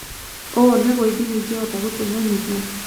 Ũũ nĩguo ithimi ingĩhota gũtũmemenyithia